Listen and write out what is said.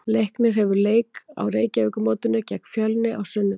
Leiknir hefur leik á Reykjavíkurmótinu gegn Fjölni á sunnudag.